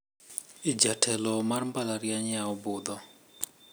Jatelo mar mbalariany yawo budho.